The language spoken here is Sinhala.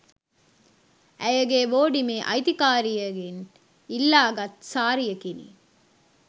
ඇයගේ බෝඩිමේ අයිතිකරියගෙන් ඉල්ලාගත් සාරියකිනි